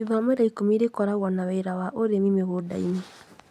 Ithomo rĩa ũrĩmi nĩrĩkoragwo na wĩra wa ũrĩmi mũgũnda-inĩ